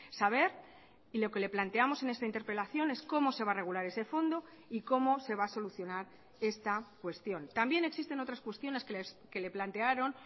saber y lo que le planteamos en esta interpelación es cómo se va a regular ese fondo y cómo se va a solucionar esta cuestión también existen otras cuestiones que le plantearon